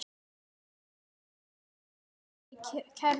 Hann skutlaði bróður sínum í kerruna.